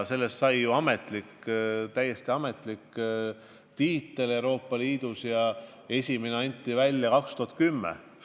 Sellest sai täiesti ametlik tiitel Euroopa Liidus ja esimene anti välja 2010. aastal.